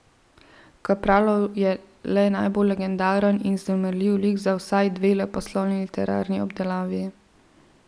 Kapralov je le najbolj legendaren in vznemirljiv lik za vsaj dve leposlovni literarni obdelavi.